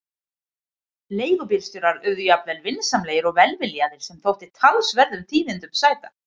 Leigubílstjórar urðu jafnvel vinsamlegir og velviljaðir, sem þótti talsverðum tíðindum sæta!